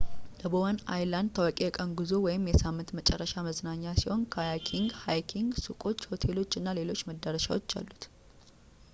የbowen island ታዋቂ የቀን ጉዞ ወይም የሳምንት መጨረሻ መዝናኛ ሲሆን ካያኪንግ፣ ሀይኪንግ ፣ሱቆች ሆቴሎች እና ሌሎች መዳረሻዎች አሉት